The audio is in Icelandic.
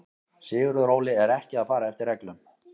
Sigurður Óli er ekki að fara eftir reglum.